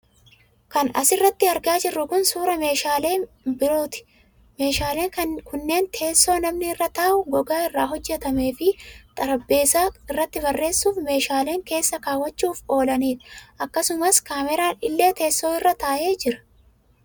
Kan as irratti argaa jirru kun, suura meeshaalee biirooti. Meeshaaleen kunneen: teessoo namni irra taa'uu gogaa irraa hojjatamaee, fi xarapheezaa irratti barreesuuf fi meeshaalee keessa kaawwachuuf oolaniidha. Akkasumas, keemeraan illee teessoo irra taa'ee jira.